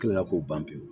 Kila k'o ban pewu